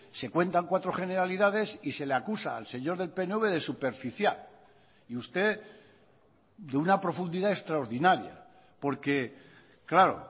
se cuentan cuatro generalidades y se le acusa al señor del pnv de superficial y usted de una profundidad extraordinaria porque claro